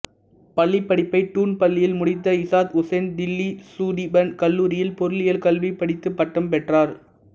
பள்ளிப் படிப்பை டூன் பள்ளியில் முடித்த இசாத் உசேன் தில்லி சுடீபன் கல்லூரியில் பொருளியல் கல்வி படித்து பட்டம் பெற்றார்